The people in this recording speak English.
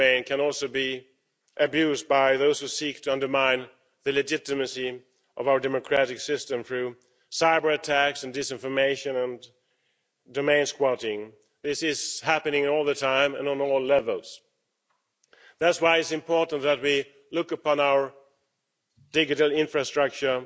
.eu domain can also be abused by those who seek to undermine the legitimacy of our democratic system through cyber-attacks, disinformation and domain squatting. This is happening all the time and at all levels. That's why it's important that we look upon our digital infrastructure